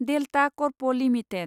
delta Corp limited